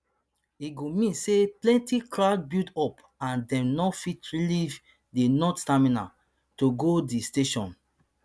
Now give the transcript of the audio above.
e go mean say plenty crowd build up and dem no fit leave di north terminal to go di station